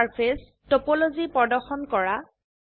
অণুৰ surface topology প্ৰদৰ্শন কৰা